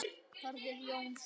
Þórður Jóns